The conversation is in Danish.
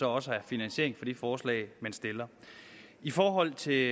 også har finansiering til de forslag man stiller i forhold til